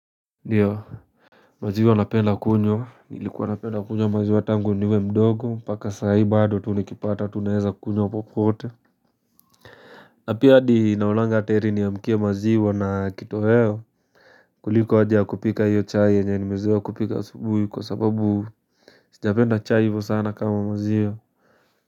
Ndiyo, maziwa napenda kunywa nilikuwa napenda kunywa maziwa tangu niwe mdogo mpaka saahi bado tu nikipata tu naeza kunywa popote. Na pia hadi naoanga ata heri niamkie maziwa na kitoheo kuliko haja ya kupika hiyo chai enye nimezoea kupika asubuhi kwa sababu japenda chai hivyo sana kama maziwa.